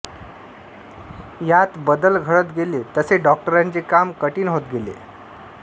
यात बदल घडत गेले तसे डॉक्टरांचे काम कठीण होत गेले